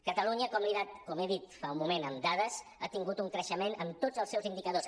catalunya com he dit fa un moment amb dades ha tingut un creixement en tots els seus indicadors